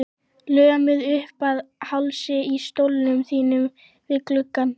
Lömuð uppað hálsi í stólnum þínum við gluggann.